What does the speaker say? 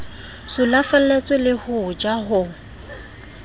sulafalletswe le ho ja ho